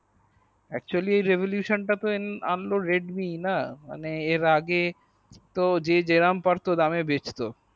actually revolution তা তো অন্য redmi এর আগে মানে এর আগে যে যেমন পারতো দামে বেচতো